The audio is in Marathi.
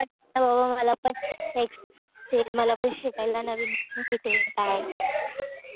मला पण एक्सपीरियन्स भेटेल. मला पण शिकायला नवीन भेटेल.काय